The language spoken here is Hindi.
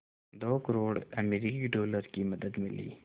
दो करोड़ अमरिकी डॉलर की मदद मिली